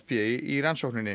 í rannsókninni